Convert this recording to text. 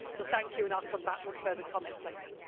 Thank you, and I will come back with further comments later.